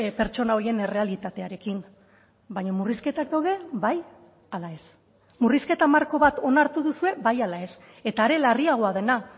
pertsona horien errealitatearekin baina murrizketak daude bai ala ez murrizketa marko bat onartu duzue bai ala ez eta are larriagoa dena